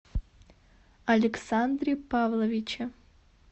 александре павловиче